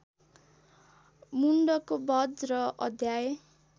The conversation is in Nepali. मुण्डको बध र अध्याय